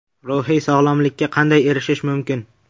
Ruhiy sog‘lomlikka qanday erishish mumkin?